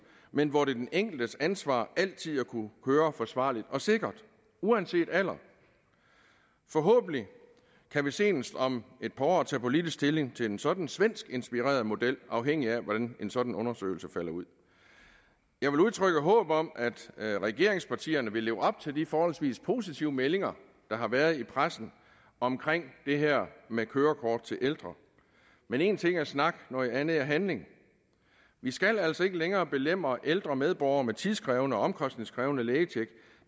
men hvor det er den enkeltes ansvar altid at kunne køre forsvarligt og sikkert uanset alder forhåbentlig kan vi senest om et par år tage politisk stilling til en sådan svensk inspireret model afhængigt af hvordan en sådan undersøgelse falder ud jeg vil udtrykke håb om at regeringspartierne vil leve op til de forholdsvis positive meldinger der har været i pressen om det her med kørekort til ældre men én ting er snak noget andet handling vi skal altså ikke længere belemre ældre medborgere med tidskrævende og omkostningskrævende lægetjek